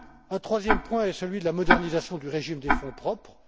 Un troisième point est celui de la modernisation du régime des fonds propres.